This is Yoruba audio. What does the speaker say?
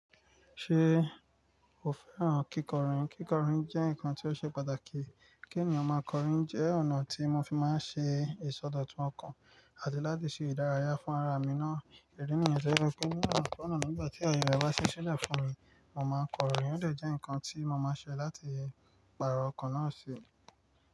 Ṣe o fẹ́ràn kíkọrin? Kíkọrin jẹ́ nǹkan tó ṣe pàtàkì. Kí ènìyàn máa kọrin jẹ́ ọ̀nà tí mo fi máa ń ṣe ìsọdọ̀tun ọkàn àti láti ṣe ìdárayá fún ara mi náà. Ìdí nìyẹn tó jẹ wipé ni onakona nígbà ti ayẹ e bà sí sílẹ̀ fún mi, mo máa kọrin. Ó dè jẹ́ ǹkan tí mo máa ṣe láti pàrọ̀ ọkàn náà sí.